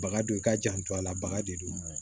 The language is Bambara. Baga don i k'a janto a la baga de don